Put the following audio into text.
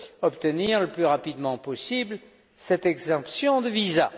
obtenir le plus rapidement possible cette exemption de visas.